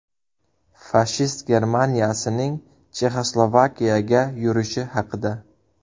Fashist Germaniyasining Chexoslovakiyaga yurishi haqida.